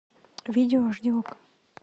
видео аш ди окко